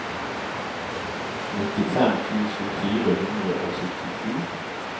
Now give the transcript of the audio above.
nittifem tusen fire hundre og syttisju